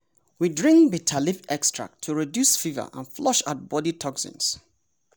we drink bitter leaf extract to reduce fever and flush out body toxins.